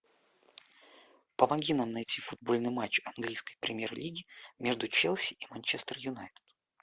помоги нам найти футбольный матч английской премьер лиги между челси и манчестер юнайтед